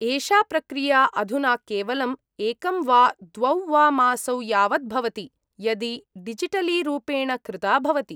एषा प्रक्रिया अधुना केवलम् एकं वा द्वौ वा मासौ यावत् भवति, यदि डिजिटलीरूपेण कृता भवति।